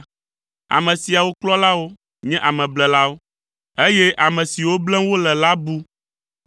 Ame siawo kplɔlawo nye ameblelawo, eye ame siwo blem wole la bu.